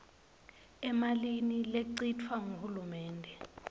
emalini lechitfwa nguhulumende